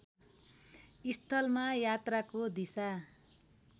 स्थलमा यात्राको दिशा